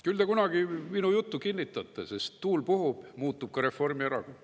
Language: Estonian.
Küll te kunagi minu juttu kinnitate, sest tuul puhub, muutub ka Reformierakond.